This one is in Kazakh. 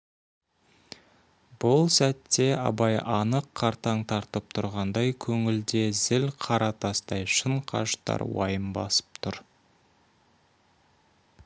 бұл сәтте абай анық қартаң тартып тұрғандай көңілде зіл қара тастай шын қажытар уайым басып тұр